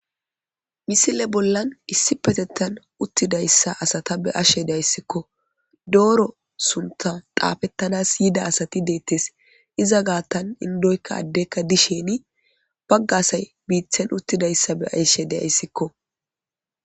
Misile bollan issippetettan uttidayssa asata be'ashe dayssikko. Dooro suntta xaafetánas yida asati deettes. Iza gaattan indykka addeykka dishin bagga asay hiitten be'ashe de'ayssiko